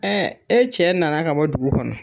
e cɛ na na ka bɔ dugu kɔnɔ.